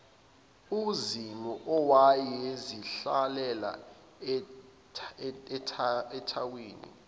uzimu owayezihlalela ethawini